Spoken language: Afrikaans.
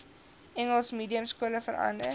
engels mediumskole verander